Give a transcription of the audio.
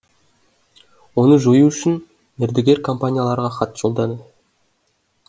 оны жою үшін мердігер компанияларға хат жолданды